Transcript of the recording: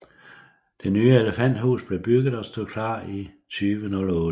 Det nye elefanthus blev bygget og stod klart 2008